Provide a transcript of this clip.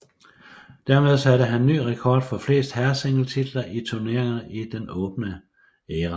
Dermed satte han ny rekord for flest herresingletitler i turneringen i den åbne æra